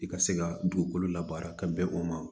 I ka se ka dugukolo labaara ka bɛn o ma